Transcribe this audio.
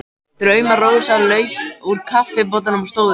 Drauma-Rósa lauk úr kaffibollanum og stóð upp.